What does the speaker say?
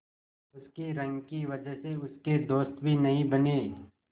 उसकी रंग की वजह से उसके दोस्त भी नहीं बने